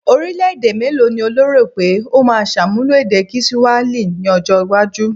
Orílẹ̀-èdè mélòó ni o lérò pé ó máa ṣàmúlò èdè kiswahili ní ọjọ́-iwájú?